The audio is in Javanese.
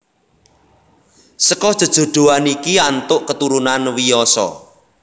Seka jejodhoan iki antuk keturunan Wiyasa